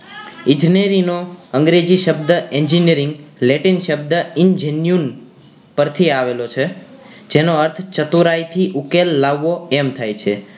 ઈજનેરી નો અંગ્રેજી શબ્દ engineering latin શબ્દ engineun પર થી આવેલો છે જેનો અર્થ ચતુરાઈ થી ઉકેલ લાવવો એમ થાય છે